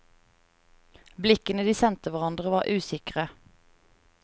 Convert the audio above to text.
Blikkene de sendte hverandre var usikre.